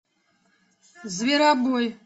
зверобой